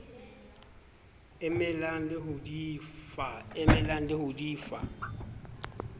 emelang le ho di fa